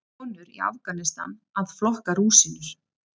Konur í Afganistan að flokka rúsínur.